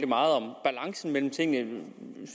meget om balancen mellem tingene